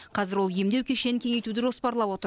қазір ол емдеу кешенін кеңейтуді жоспарлап отыр